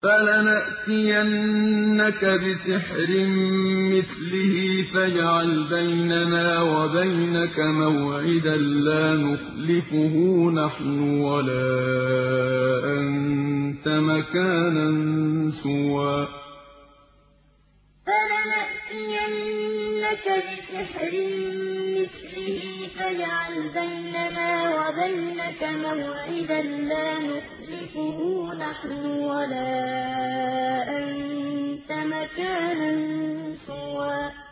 فَلَنَأْتِيَنَّكَ بِسِحْرٍ مِّثْلِهِ فَاجْعَلْ بَيْنَنَا وَبَيْنَكَ مَوْعِدًا لَّا نُخْلِفُهُ نَحْنُ وَلَا أَنتَ مَكَانًا سُوًى فَلَنَأْتِيَنَّكَ بِسِحْرٍ مِّثْلِهِ فَاجْعَلْ بَيْنَنَا وَبَيْنَكَ مَوْعِدًا لَّا نُخْلِفُهُ نَحْنُ وَلَا أَنتَ مَكَانًا سُوًى